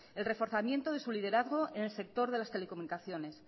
el reforzamiento de sus liderazgo en el sector de las telecomunicaciones